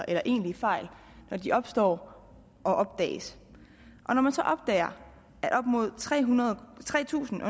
eller egentlige fejl når de opstår og opdages når man så opdager at op mod tre tre tusind